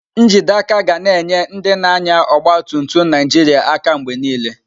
Njide aka ga na-enye ndị na-anya ọgba tum tum Naijiria aka mgbe niile.